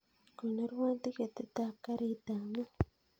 Konorwon tiketit ab garit ab maat